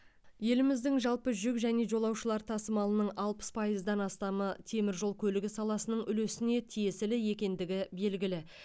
еліміздің жалпы жүк және жолаушылар тасымалының алпыс пайыздан астамы темір жол көлігі саласының үлесіне тиесілі екендігі белгілі